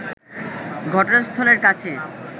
ঘটনাস্থলের কাছে